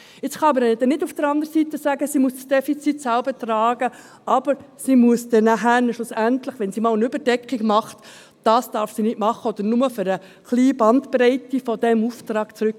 Man kann jetzt nicht sagen, sie müsse das Defizit selber tragen, dürfe aber nie eine Überdeckung haben, was sie nicht darf, oder einmal etwas von diesem kleinen Auftrag zurücklegen.